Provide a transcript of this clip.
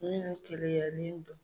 Ne keleya ba.